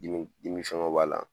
Dimiw fɛngɛw b'a la